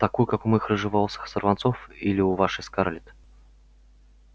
такую как у моих рыжеволосых сорванцов или у вашей скарлетт